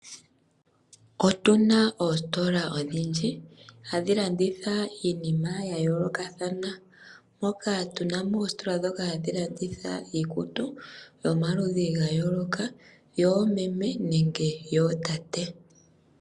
Otu na oositola odhindji hadhi landitha iinima ya yoolokathana. Moka tu na mo oositola hadhi landitha iikutu yomaludhi ga yooloka yoomeme nenge yootate.